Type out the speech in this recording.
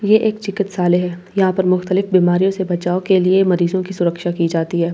ये एक चिकित्‍सालय है यहां पे मुकतलिब बीमारियों से बचाव के लिए मरीजों की सुरक्षा की जाती है--